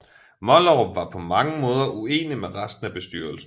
Mollerup var på mange måder uenige med resten af bestyrelsen